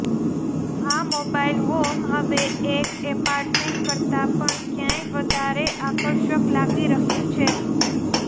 આ mobile home હવે એક એપાર્ટમેન્ટ કરતાં પણ ક્યાંય વધારે આકર્ષક લાગી રહ્યું છે